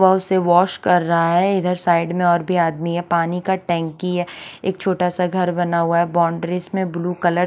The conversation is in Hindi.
से वॉश कर रहा हे इधर साइड में और भी आदमी हे पानी की टंकी हे एक छोटा सा घर बना हुआ हे बोन्द्रीस में ब्लू कलर --